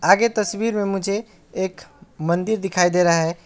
आगे तस्वीर में मुझे एक मंदिर दिखाई दे रहा है।